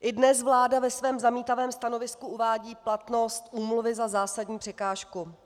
I dnes vláda ve svém zamítavém stanovisku uvádí platnost úmluvy za zásadní překážku.